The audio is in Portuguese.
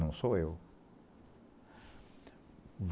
Não sou eu.